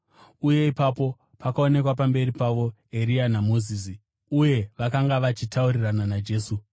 Uye ipapo pakaonekwa pamberi pavo Eria naMozisi, uye vakanga vachitaurirana naJesu.